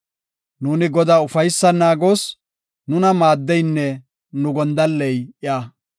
Nuuni Godaa ufaysan naagoos; nuna maaddeynne nu gondalley iya.